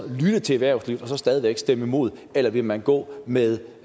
lytte til erhvervslivet og stadig væk stemme imod eller vil man gå med